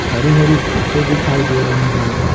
हरी-हरी घांसे दिखाई दे रही हैं।